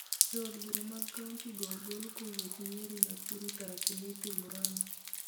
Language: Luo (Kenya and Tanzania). Jo od bura mag kaonti go ogol kowuok Nyeri, Nakuru, Tharaka Nithi, Muranga,